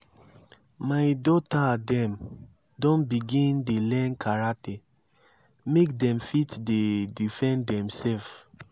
my dota dem don begin dey learn karate make dem fit dey defend demsef.